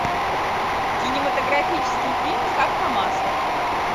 кинематографический фильм как по маслу